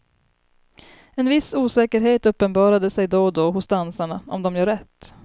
En viss osäkerhet uppenbarade sig då och då hos dansarna om de gör rätt.